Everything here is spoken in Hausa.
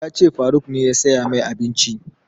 Ya ce faruk ne ya saya mai abinci